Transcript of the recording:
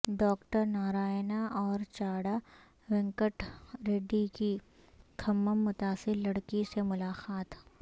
doctor Narayana اور چاڈا وینکٹ ریڈی کی کھمم متاثر لڑکی سے ملاقات